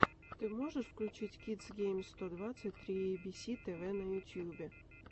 ты можешь включить кидс геймс сто двадцать три эйбиси тэвэ на ютюбе